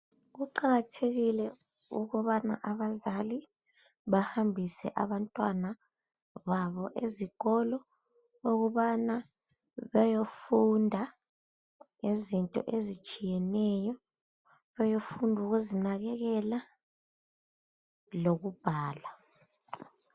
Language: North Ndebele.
Kuqakathekile ukubana abazali bahambise abantwana babo ezikolo. Ukuthi bayefunda izinto ezitshiyeneyo. Bayefunda ukuzinakekela, lokubhala.